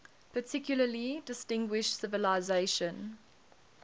particularly distinguished civilization